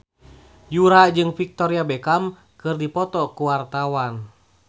Yura jeung Victoria Beckham keur dipoto ku wartawan